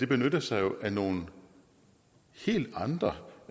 benytter sig af nogle helt andre